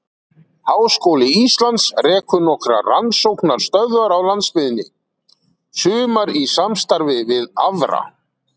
Háskóli Íslands rekur nokkrar rannsóknastöðvar á landsbyggðinni, sumar í samstarfi við aðra.